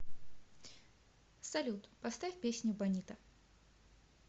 салют поставь песню бонита